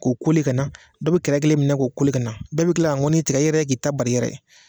K'o ka na dɔ bɛ kɛrɛ kelen minɛ k'o ka na, bɛɛ bɛ kila ka ŋɔni tigɛ i yɛrɛ ye k'i ta bar'i yɛrɛ ye.